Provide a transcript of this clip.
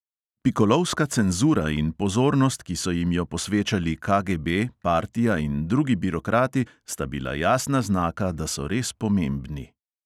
Pikolovska cenzura in pozornost, ki so jim jo posvečali KGB, partija in drugi birokrati, sta bila jasna znaka, da so res pomembni.